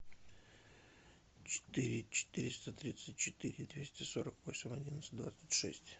четыре четыреста тридцать четыре двести сорок восемь одиннадцать двадцать шесть